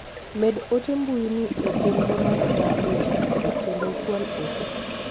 med ote mbui ni e chenro mara mar weche tudruok kendo ichwal ote..